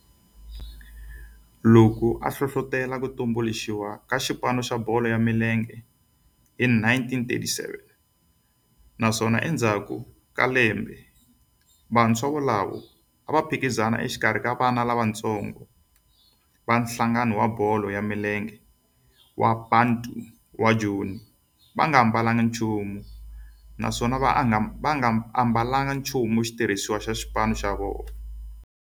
Loko a hlohlotela ku tumbuluxiwa ka xipano xa bolo ya milenge hi 1937 naswona endzhaku ka lembe vantshwa volavo a va phikizana exikarhi ka vana lavatsongo va nhlangano wa bolo ya milenge wa Bantu wa Joni va nga ambalanga nchumu naswona va nga ambalanga nchumu xitirhisiwa xa xipano.